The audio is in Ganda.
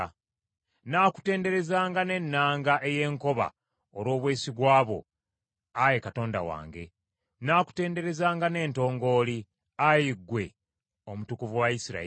Nnaakutenderezanga ne nnanga ey’enkoba olw’obwesigwa bwo, Ayi Katonda wange; nnaakutenderezanga n’entongooli, Ayi ggwe Omutukuvu wa Isirayiri.